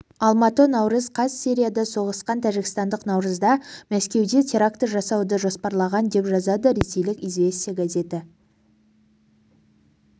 алматы наурыз қаз сирияда соғысқан тәжікстандық наурызда мәскеуде теракті жасауды жоспарлаған деп жазады ресейлік известия газеті